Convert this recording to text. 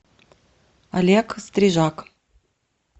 олег стрижак